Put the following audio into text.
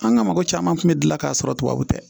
An ka mɔgɔ caman kun bɛ gilan k'a sɔrɔ tubabuw tɛ